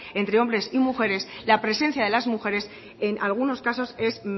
entre hombres y mujeres la presencia de las mujeres en algunos casos es